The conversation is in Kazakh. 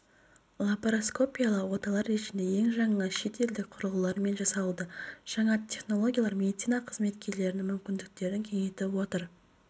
лапароскопиялық оталар режимде ең жаңа шет елдік құрылғылармен жасалуда жаңа технологиялар медицина қызметкерлерінің мүмкіндіктерін кеңейтіп отыр